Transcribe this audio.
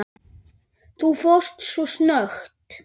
Þú fórst svo snöggt.